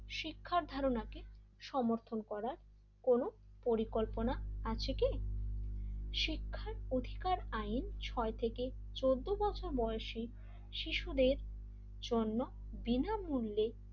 শিক্ষার ধারণাকে সমর্থন করার পরিকল্পনা আছে কি শিক্ষার অধিকার আইন ছই থেকে চোদ্দ বছর বয়সে শিশুদের জন্য বিনামূল্যে,